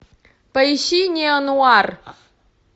поищи неонуар